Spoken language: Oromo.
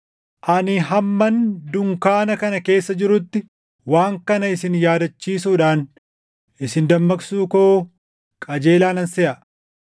Ani hamman dunkaana kana keessa jirutti waan kana isin yaadachiisuudhaan isin dammaqsuu koo qajeelaa nan seʼa;